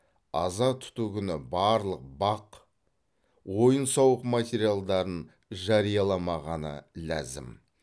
аза тұту күні барлық бақ ойын сауық материалдарын жарияламағаны ләзім